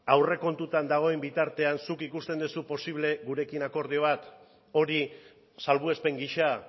aurrekontuetan dagoen bitartean zuk ikusten duzu posible gurekin akordio bat hori salbuespen gisa